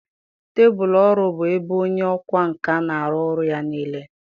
Tebụl ọrụ bụ ebe onye ọkwá nkà na-arụ ọrụ ya niile.